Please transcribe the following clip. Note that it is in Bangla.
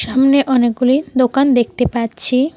সামনে অনেকগুলি দোকান দেখতে পাচ্ছি।